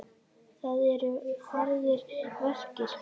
Það eru harðir verkir.